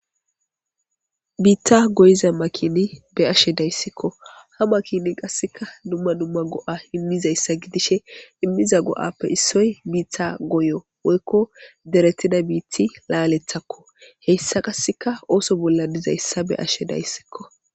Biitta goyiza makini be ashe dayssikko ha makini qasseka dumma dumma go'a immizayssa gidishe immiza go'appe issoy biitha goyo woykko deretida biiti laalethakko heyssa qasseka ooso bolla dizayssa be ashe dayssikko.